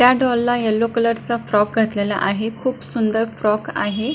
त्या डॉलला यल्लो कलरचा फ्रॉक घातलेला आहे खुप सुंदर फ्रॉक आहे.